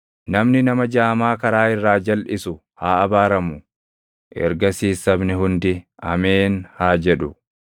“Namni nama jaamaa karaa irraa jalʼisu haa abaaramu.” Ergasiis sabni hundi, “Ameen!” haa jedhu.